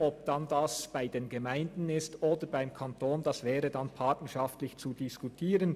Ob dies dann bei den Gemeinden geschieht oder beim Kanton, wäre partnerschaftlich zu diskutieren.